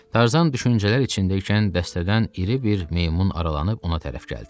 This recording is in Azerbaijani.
Tarzan düşüncələr içindəykən dəstədən iri bir meymun aralanıb ona tərəf gəldi.